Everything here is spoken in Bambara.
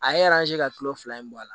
A ye ka kilo fila in bɔ a la